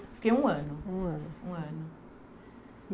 Fiquei um ano. Um ano? Um ano.